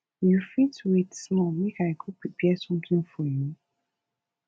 you fit wait small make i go prepare something for you